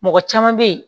Mɔgɔ caman bɛ ye